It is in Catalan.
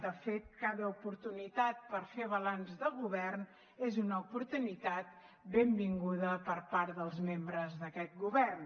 de fet cada oportunitat per fer balanç de govern és una oportunitat benvinguda per part dels membres d’aquest govern